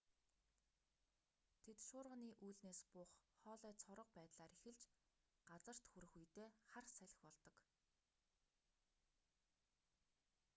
тэд шуурганы үүлнээс буух хоолой цорго байдлаар эхэлж газарт хүрэх үедээ хар салхи болдог